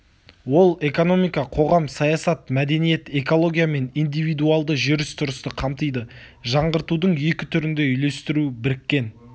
ол экономика қоғам саясат мәдениет экология мен индивидуалды жүріс-тұрысты қамтиды жаңғыртудың екі түрін де үйлестіру біріккен